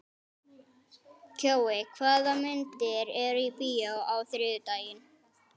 Kjói, hvaða myndir eru í bíó á þriðjudaginn?